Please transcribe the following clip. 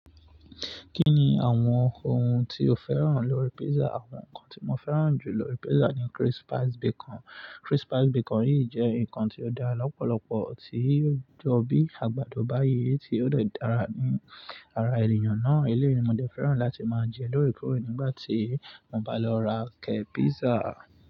Kí ni àwọn ohun tí o féràn lórí pizza? Àwọn nkan tí mo féràn jù lórí pizza ni crispy bacon. Crispy bacon yìí jẹ́ nkan tí ó dá lọ́pọ̀lọpọ̀ tí ò jọ bí àgbàdo báyìí tí ó dè dára ní ara ènìyàn náà. Eléyi mo dẹ féràn láti máa jẹ lórè kòrè nígbà tí mo bá lọ ra ké pizza.